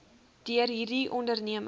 deur hierdie onderneming